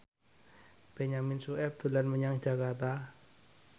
Benyamin Sueb dolan menyang Jakarta